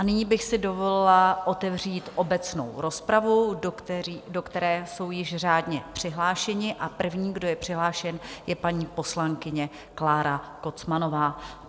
A nyní bych si dovolila otevřít obecnou rozpravu, do které jsou již řádně přihlášeni, a prvním, kdo je přihlášen, je paní poslankyně Klára Kocmanová.